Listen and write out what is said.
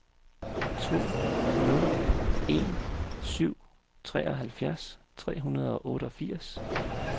to nul en syv treoghalvfjerds tre hundrede og otteogfirs